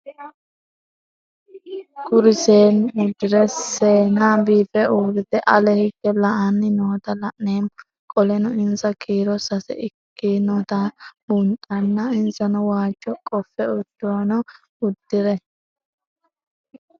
Kuri seenu udire sesena biife urite ale hige la'ani noota la'nemo qoleno insa kiiro sase ikinotana bunxana insano waajo qofe udune udire